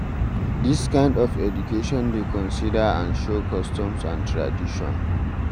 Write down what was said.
This kind of education dey consider and show customs and tradition